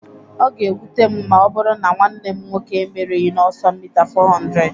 Ọ ga-ewute m ma ọ bụrụ na nwanne m nwoke emeerịghị n'ọsọ mita 400